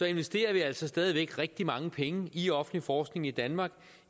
investerer vi altså stadig væk rigtig mange penge i offentlig forskning i danmark